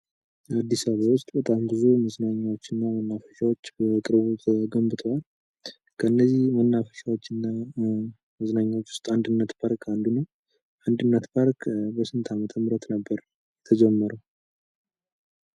አዲስ አበባ ውስጥ በጣም ብዙ መዝናኛዎችና መናፈሻዎች በቅርቡ ተገንብተዋል። ከእነዚህ መናፈሻዎች እና መዝናኛዎች ውስጥ አንድነት ፓርክ አንዱን ነው። አንድነት ፓርክ በስንት ዓመተ ምህረት ነበር የተጀመረው?